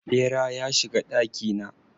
Ɓera ya shiga ɗaki na.